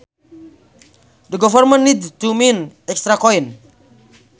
The government need to mint extra coins